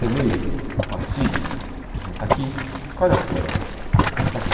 Peguei o a pastilha, assim está aqui, escolhe as cores, está aqui.